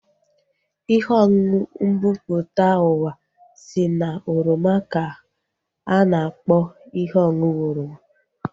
Ihe ọṅụṅụ mbumputauwa si na oroma ka a na-akpọ ihe ọṅụṅụ oroma